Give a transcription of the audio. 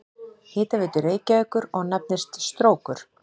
Hitaveitu Reykjavíkur og nefnist Strókur.